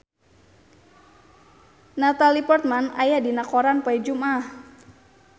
Natalie Portman aya dina koran poe Jumaah